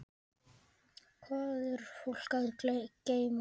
Hvað er fólk að geyma?